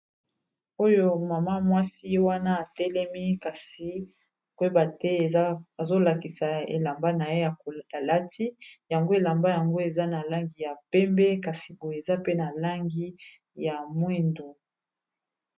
Oyo mama mwasi wana atelemi kasi koyeba te eza azolakisa elamba na ye alati yango elamba yango eza na langi ya pembe kasi boye eza pe na langi ya mwindu.